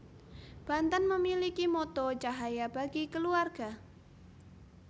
Banten memiliki motto Cahaya Bagi Keluarga